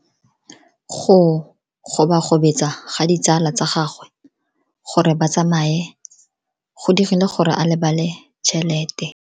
Go gobagobetsa ga ditsala tsa gagwe, gore ba tsamaye go dirile gore a lebale tšhelete.